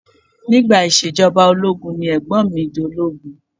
Nígbà ìṣèjọba ológun ni Ẹ̀gbọ́n mi dológun